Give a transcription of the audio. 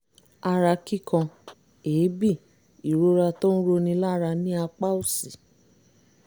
ara kíkan èébì ìrora tó ń roni lára ní apá òsì